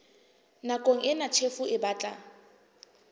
nakong ena tjhefo e batla